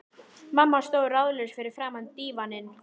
Mamma stóð ráðalaus fyrir framan dívaninn.